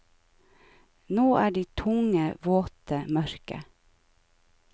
Nå er de tunge, våte, mørke.